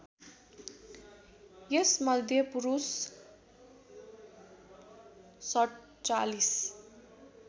यसमध्ये पुरुष ४७